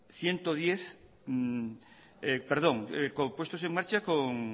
puestos en marcha con